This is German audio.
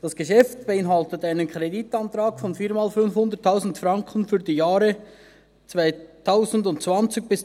Das Geschäft beinhaltet einen Kreditantrag von viermal 500 000 Franken für die Jahre 2020–2023.